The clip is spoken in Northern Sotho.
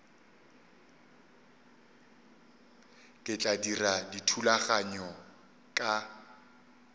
ke tla dira dithulaganyo ka